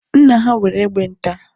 Nna ha nwere egbe nta.